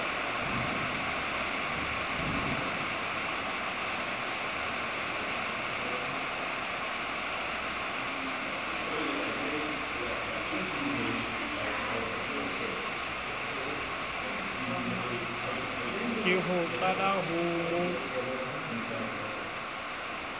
ke ho qhwala ho mo